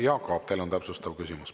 Jaak Aab, teil on täpsustav küsimus.